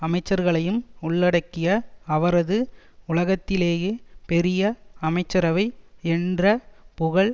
அமைச்சர்களையும் உள்ளடக்கிய அவரது உலகத்திலேயே பெரிய அமைச்சரவை என்ற புகழ்